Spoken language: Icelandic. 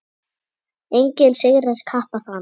Enginn sigrar kappa þann.